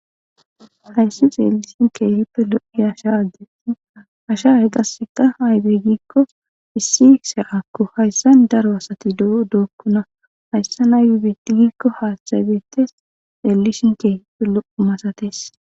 hayssi xeelishin keehippe lo7i asha agge asha haygasseka aydey giikko issi se7akko hayssan daro asati d dookkona hayssa na yubiti giikko haathabetes xeellishin keehippe lo7u masates